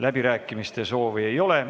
Läbirääkimiste soovi ei ole.